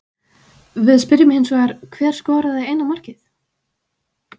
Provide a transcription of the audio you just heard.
Við spyrjum hins vegar, hver skoraði eina markið?